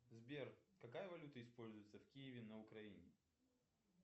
сбер какая валюта используется в киеве на украине